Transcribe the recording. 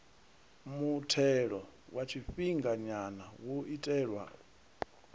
muthelo wa tshifhinganya wo itelwa